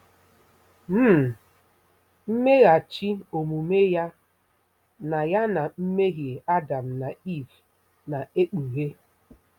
um mmeghachi omume ya na ya na mmehie Adam na Iv na-ekpughe.